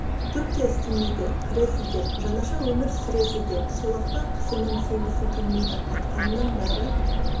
түк те істемейді кіресіздер жаңаша өмір сүресіздер сол-ақ па кісінің сенгісі келмейді айтқанының бәрі